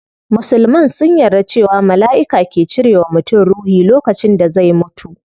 Musulman sun yarda cewa malaiki ke cire wa mutum ruhi lokacin da zai mutu